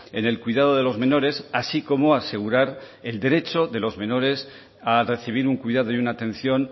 en el cuidado de los menores así como asegurar el derecho de los menores a recibir un cuidado y una atención